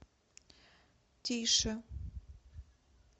тише